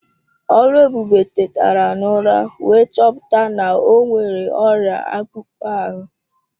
Oluebube tetara n'ụra wee chọpụta na o nwere ọrịa akpụkpọ ahụ.